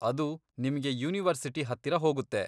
ಅದು ನಿಮ್ಗೆ ಯೂನಿವರ್ಸಿಟಿ ಹತ್ತಿರ ಹೋಗುತ್ತೆ.